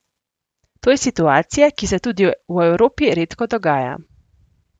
To je situacija, ki se tudi v Evropi redko dogaja.